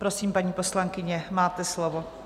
Prosím, paní poslankyně, máte slovo.